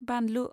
बानलु